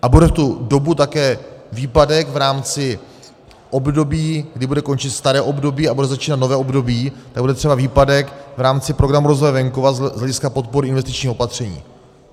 A bude v tu dobu také výpadek v rámci období, kdy bude končit staré období a bude začínat nové období, tak bude třeba výpadek v rámci Programu rozvoje venkova z hlediska podpory investičních opatření.